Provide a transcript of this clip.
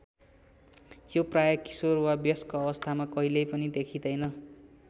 यो प्राय किशोर वा वयस्क अवस्थामा कहिल्यै पनि देखिँदैन।